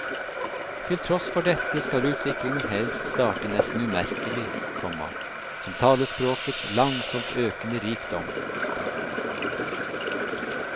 Til tross for dette skal utviklingen helst starte nesten umerkelig, komma som talespråkets langsomt økende rikdom. punktum